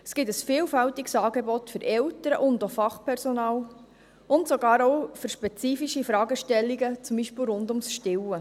Es gibt ein vielfältiges Angebot für Eltern und auch Fachpersonal, und sogar auch für spezifische Fragestellungen, zum Beispiel rund ums Stillen.